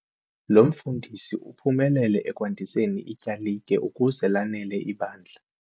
Lo mfundisi uphumelele ekwandiseni ityalike ukuze lanele ibandla.